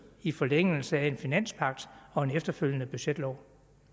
i forlængelse af en finanspagt og en efterfølgende budgetlov